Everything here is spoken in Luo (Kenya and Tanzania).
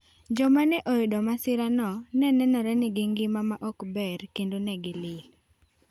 Joma ne oyudo masirano ne nenore ni gi ngima ma ok ber kendo ne gi lil.